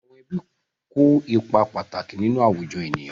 Àwọn ẹbí kó ipa pàtàkì nínú àwùjọ ènìyàn.